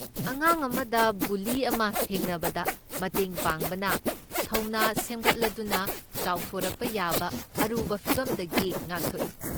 ꯑꯉꯥꯡ ꯑꯃꯗ ꯕꯨꯂꯤ ꯑꯃ ꯊꯦꯡꯅꯕꯗ ꯃꯇꯦꯡ ꯄꯥꯡꯕꯅ ꯊꯧꯅ ꯁꯦꯝꯒꯠꯂꯗꯨꯅ ꯆꯥꯎꯊꯣꯔꯛꯄ ꯌꯥꯕ ꯑꯔꯨꯕ ꯐꯤꯚꯝꯗꯒꯤ ꯉꯥꯛꯊꯣꯛꯏ꯫